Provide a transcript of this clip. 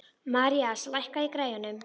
Marías, lækkaðu í græjunum.